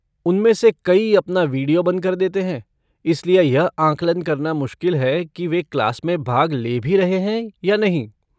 उनमें से कई अपना वीडियो बंद कर देते हैं, इसलिए यह आंकलन करना मुश्किल है कि वे क्लास में भाग ले भी रहे हैं या नहीं।